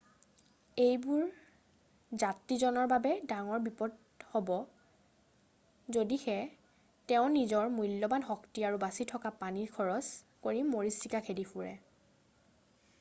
এইবোৰ যাত্ৰীজনৰ বাবে ডাঙৰ বিপদ হ'ব যদিহে তেওঁ নিজৰ মূল্যবান শক্তি আৰু বাচি থকা পানী খৰচ কৰি মৰিচিকা খেদি ফুৰে